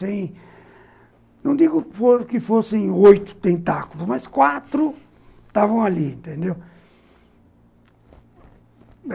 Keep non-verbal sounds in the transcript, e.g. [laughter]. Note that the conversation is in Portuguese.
Sem... Não [unintelligible] digo que fossem oito tentáculos, mas quatro estavam ali, entendeu?